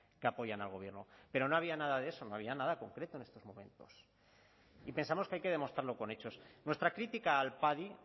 que apoyan al gobierno pero no había nada de eso no había nada concreto en estos momentos y pensamos que hay que demostrarlo con hechos nuestra crítica al padi